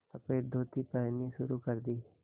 सफ़ेद धोती पहननी शुरू कर दी